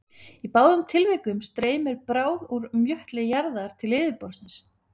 Í báðum tilvikum streymir bráð úr möttli jarðar til yfirborðs.